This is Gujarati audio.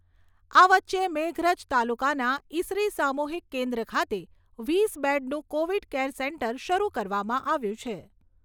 આ વચ્ચે મેઘરજ તાલુકાના ઇસરી સામુહિક કેન્દ્ર ખાતે વીસ બેડનું કૉવિડ કેર સેન્ટર શરૂ કરવામાં આવ્યું છે